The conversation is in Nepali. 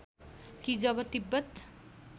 कि जब तिब्बत